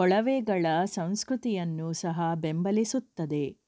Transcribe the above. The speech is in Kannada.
ಕೊಳವೆಗಳ ಸಂಸ್ಕೃತಿಯನ್ನು ಸಹ ಬೆಂಬಲಿಸುತ್ತದೆ